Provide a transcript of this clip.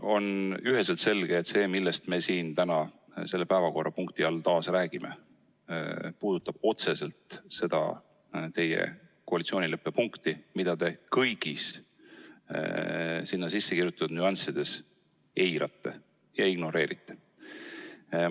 " On üheselt selge, et see, millest me siin täna selle päevakorrapunkti raames taas räägime, puudutab otseselt seda koalitsioonileppe punkti, mida te kõigis sinna sisse kirjutatud nüanssides eirate, ignoreerite.